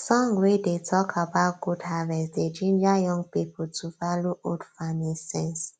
song wey dey talk about good harvest dey ginger young people to value old farming sense